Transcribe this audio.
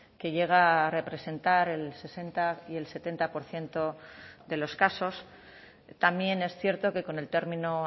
que llega a representar el sesenta y el setenta por ciento de los casos también es cierto que con el término